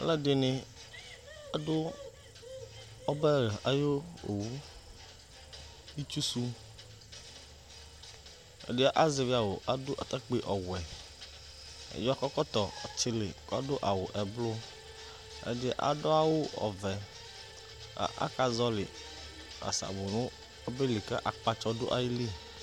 aluɛdɩnɩ adʊ ɔbɛ ayu owu itsu su, ɛdɩ azɛvi awʊ kʊ adʊ atakpi ɔwɛ, ɛdɩ akɔ ɛkɔtɔ ɔtili kʊ adʊ awu eblu, ɛdɩ adʊ awu ɔvɛ, akazɔli asabʊ nʊ ɔbɛli kʊ akpatsɔ dʊ ayili